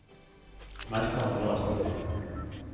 Merk andre avsnitt